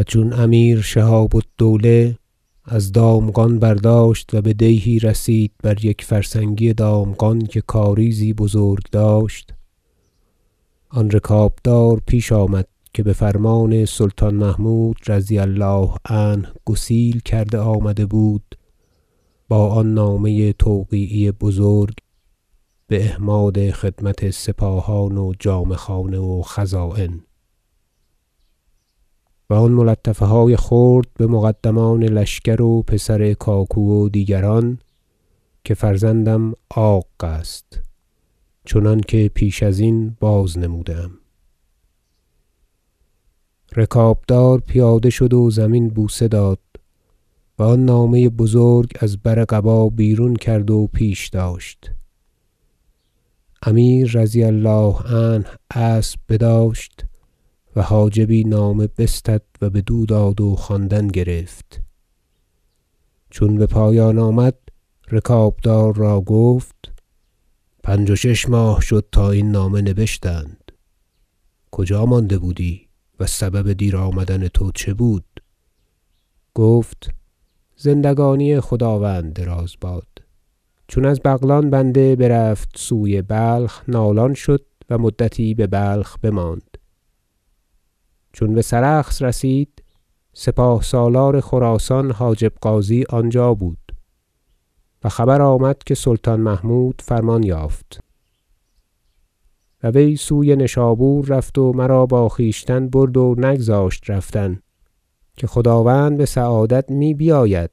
و چون امیر شهاب الدوله از دامغان برداشت و به دیهی رسید بر یک فرسنگی دامغان که کاریزی بزرگ داشت آن رکابدار پیش آمد که به فرمان سلطان محمود -رضی الله عنه- گسیل کرده آمده بود با آن نامه توقیعی بزرگ به احماد خدمت سپاهان و جامه خانه و خزاین و آن ملطفه های خرد به مقدمان لشکر و پسر کاکو و دیگران که فرزندم عاق است چنانکه پیش ازین بازنموده ام رکابدار پیاده شد و زمین بوسه داد و آن نامه بزرگ از بر قبا بیرون کرد و پیش داشت امیر -رضي الله عنه- اسب بداشت و حاجبی نامه بستد و بدو داد و خواندن گرفت چون به پایان آمد رکابدار را گفت پنج و شش ماه شد تا این نامه نبشتند کجا مانده بودی و سبب دیر آمدن تو چه بود گفت زندگانی خداوند دراز باد چون از بغلان بنده برفت سوی بلخ نالان شد و مدتی به بلخ بماند چون به سرخس رسید سپاه سالار خراسان حاجب غازی آنجا بود و خبر آمد که سلطان محمود فرمان یافت و وی سوی نشابور رفت و مرا با خویشتن برد و نگذاشت رفتن که خداوند به سعادت می بیاید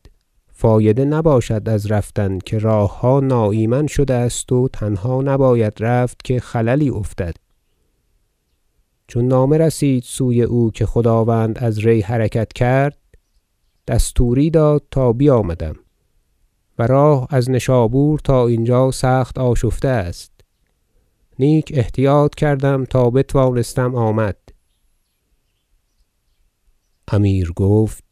فایده نباشد از رفتن که راهها ناایمن شده است و تنها نباید رفت که خللی افتد چون نامه رسید سوی او که خداوند از ری حرکت کرد دستوری داد تا بیامدم و راه از نشابور تا اینجا سخت آشفته است نیک احتیاط کردم تا بتوانستم آمد امیر گفت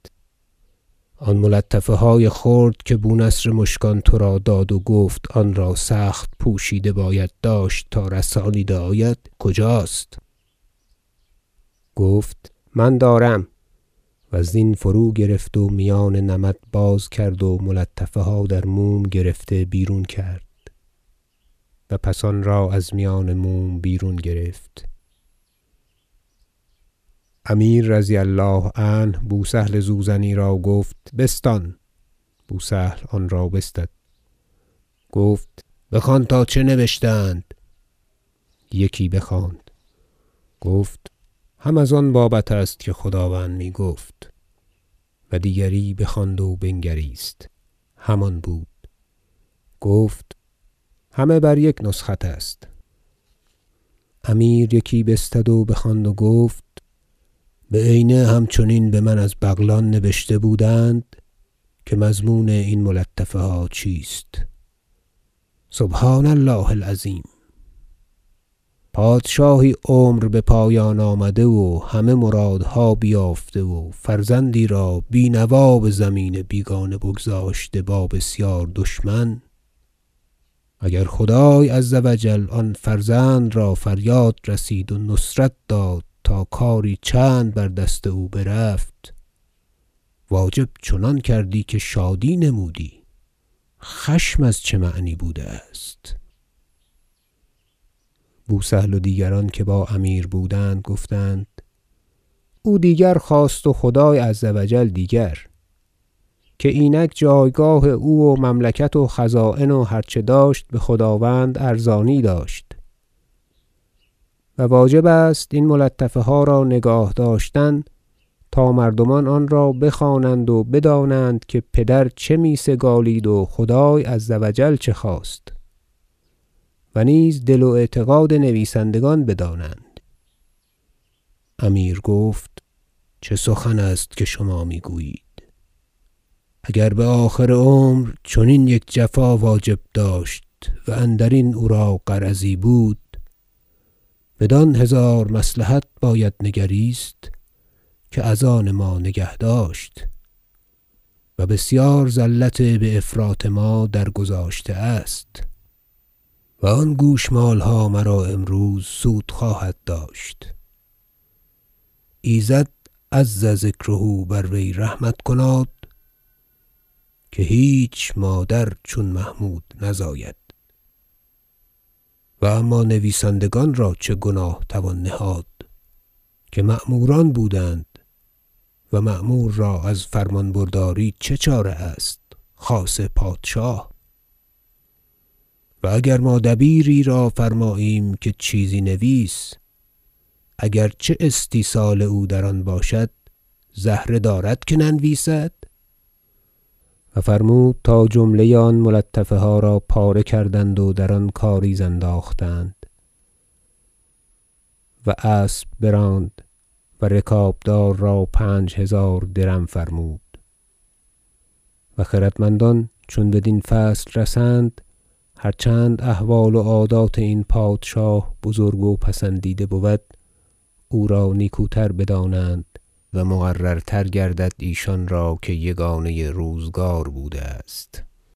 آن ملطفه های خرد که بونصر مشکان تو را داد و گفت آن را سخت پوشیده باید داشت تا رسانیده آید کجاست گفت من دارم و زین فروگرفت و میان نمد باز کرد و ملطفه ها در موم گرفته بیرون کرد و پس آن را از میان موم بیرون گرفت امیر -رضی الله عنه- بوسهل زوزنی را گفت بستان بوسهل آن را بستد گفت بخوان تا چه نبشته اند یکی بخواند گفت هم از آن بابت است که خداوند می گفت و دیگری بخواند و بنگریست همان بود گفت همه بر یک نسخت است امیر یکی بستد و بخواند و گفت بعینه همچنین به من از بغلان نبشته بودند که مضمون این ملطفه ها چیست سبحان الله العظیم پادشاهی عمر به پایان آمده و همه مرادها بیافته و فرزندی را بی نوا به زمین بیگانه بگذاشته با بسیار دشمن اگر خدای -عز و جل- آن فرزند را فریاد رسید و نصرت داد تا کاری چند بر دست او برفت واجب چنان کردی که شادی نمودی خشم از چه معنی بوده است بوسهل و دیگران که با امیر بودند گفتند او دیگر خواست و خدای -عز و جل- دیگر که اینک جایگاه او و مملکت و خزاین و هرچه داشت به خداوند ارزانی داشت و واجب است این ملطفه ها را نگاه داشتن تا مردمان آن را بخوانند و بدانند که پدر چه می سگالید و خدای -عز و جل- چه خواست و نیز دل و اعتقاد نویسندگان بدانند امیر گفت چه سخن است که شما می گویید اگر به آخر عمر چنین یک جفا واجب داشت و اندرین او را غرضی بود بدان هزار مصلحت باید نگریست که از آن ما نگه داشت و بسیار زلت بافراط ما درگذاشته است و آن گوشمالها مرا امروز سود خواهد داشت ایزد -عز ذکره- بر وی رحمت کناد که هیچ مادر چون محمود نزاید و اما نویسندگان را چه گناه توان نهاد که مأموران بودند و مأمور را از فرمان برداری چه چاره است خاصه پادشاه و اگر ما دبیری را فرماییم که چیزی نویس اگر چه استیصال او در آن باشد زهره دارد که ننویسد و فرمود تا جمله آن ملطفه ها را پاره کردند و در آن کاریز انداختند و اسب براند و رکابدار را پنج هزار درم فرمود و خردمندان چون بدین فصل رسند -هرچند احوال و عادات این پادشاه بزرگ و پسندیده بود- او را نیکوتر بدانند و مقررتر گردد ایشان را که یگانه روزگار بوده است